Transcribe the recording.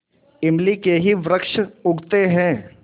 इमली के ही वृक्ष उगते हैं